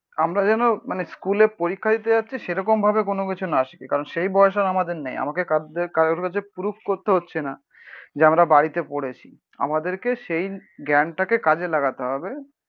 আমরা যেন মানে স্কুলে পরীক্ষা দিতে যাচ্ছি সেরকম ভাবে কোনোকিছু না শিখি, কারণ সেই বয়স আর আমাদের নেই। আমাকে কাদ কারোর কাছে প্রুফ করতে হচ্ছে না যে আমরা বাড়িতে পড়েছি। আমাদেরকে সেই জ্ঞানটাকে কাজে লাগাতে হবে।